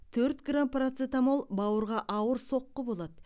төрт грамм парацетамол бауырға ауыр соққы болады